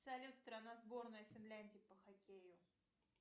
салют страна сборная финляндии по хоккею